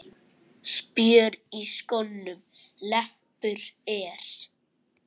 Spjör í skónum leppur er.